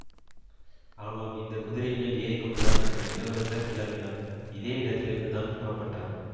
ஆமாம் இந்த குதிரைமேல் ஏறிக்கொண்டுதான் உங்கள் இளவரசர் கிளம்பினார் இதே இடத்திலிருந்துதான் புறப்பட்டார்